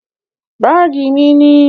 Báàgí mí ni.